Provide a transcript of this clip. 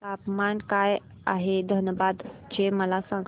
तापमान काय आहे धनबाद चे मला सांगा